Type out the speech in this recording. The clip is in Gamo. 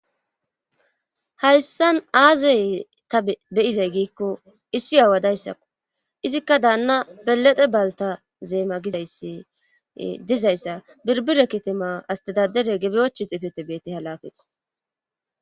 hayssan aazey ta beyizay giikko issi aawadayssakko izikka daanna belede balta zeema gizayssi dizayssa birbire kitima astadadere gebyochi xifete beette halafeto